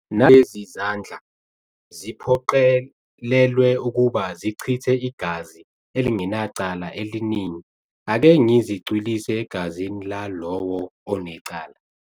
Nalezi zandla, ziphoqelelwe ukuba zichithe igazi elingenacala eliningi, ake ngizicwilise egazini lalowo onecala.